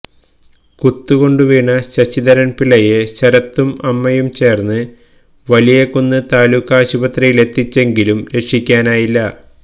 കുത്തുകൊണ്ട് വീണ ശശിധരൻപിളളയെ ശരത്തും അമ്മയും ചേർന്ന് വലിയകുന്ന് താലൂക്കാശുപത്രിയിലെത്തിച്ചെങ്കിലും രക്ഷിക്കാനായില്ല